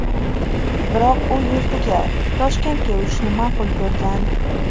Biroq u yurtiga, Toshkentga uchishni ma’qul ko‘rgan.